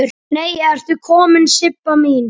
Nei ertu komin Sibba mín!